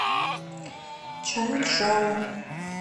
чанчжоу